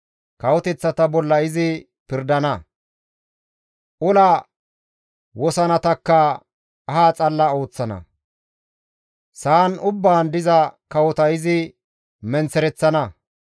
Kawoteththata bolla izi pirdana; ola wosanatakka aha xalla histtana; sa7an ubbaan diza kawota izi menththereththana.